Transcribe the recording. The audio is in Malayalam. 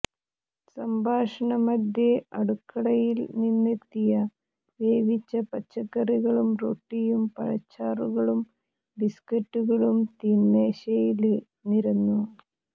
സംഭാഷണമധ്യേ അടുക്കളയില്നിന്നെത്തിയ വേവിച്ച പച്ചക്കറികളും റൊട്ടിയും പഴച്ചാറുകളും ബിസ്കറ്റുകളും തീന്മേശയില് നിരന്നു